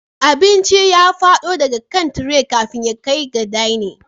Abincin ya fado daga kan tire kafin ya kai ga dining